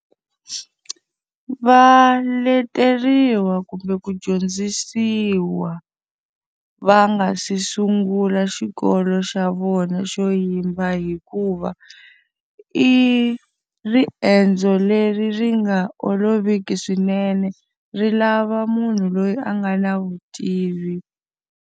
Va leteriwa kumbe ku dyondzisiwa va nga si sungula xikolo xa vona xo yimba hikuva, i riendzo leri ri nga oloviki swinene. Ri lava munhu loyi a nga na vutivi.